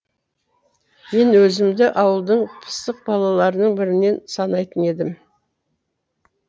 мен өзімді ауылдың пысық балаларының бірінен санайтын едім